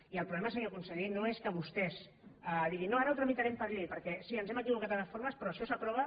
i el problema senyor conseller no és que vostès diguin no ara ho tramitarem per llei perquè sí ens hem equivocat en les formes però això s’aprova